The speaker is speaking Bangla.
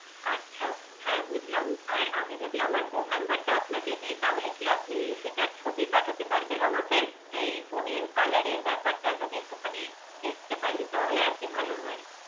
আচ্ছা হ্যাঁ বুঝলাম আর আমি যদি আমার ফোন নম্বরটা আপনাকে দিই তাহলে কি আপনি সেটার ছবি পাঠাতে পারবেন আমাকে? এই ফোনের কালারের ব্যাপারটা যদি একটুখানি দেখতে পারি তাহলে আর কি ভালো হয়